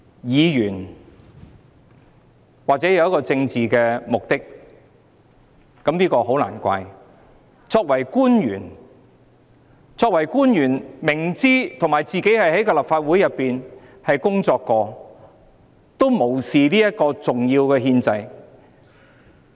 議員或許抱有政治目的，這也很難怪，但作為官員，而且他自己亦曾在立法會工作，卻無視這個重要的憲制程序。